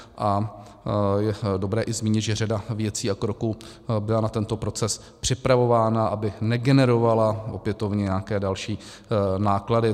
A je dobré i zmínit, že řada věcí a kroků byla na tento proces připravována, aby negenerovala opětovně nějaké další náklady.